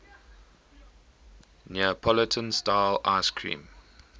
neapolitan style ice cream